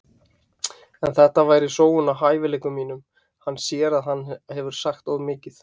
En þetta væri sóun á hæfileikum mínum. Hann sér að hann hefur sagt of mikið.